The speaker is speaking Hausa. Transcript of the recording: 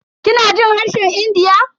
Kina jin harshen India?